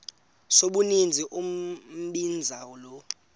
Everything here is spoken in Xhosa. sombinza umbinza lo